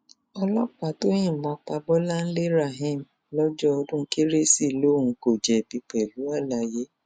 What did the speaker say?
ọlọpàá tó yìnbọn pa bọláńlé rahim lọjọ ọdún kérésì lòun kò jẹbi pẹlú àlàyé